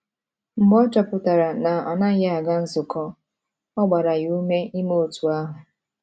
Mgbe ọ chọpụtara na ọ naghị aga nzukọ, ọ gbara ya ume ime otú ahụ.